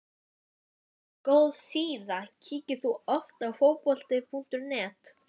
mjög góð síða Kíkir þú oft á Fótbolti.net?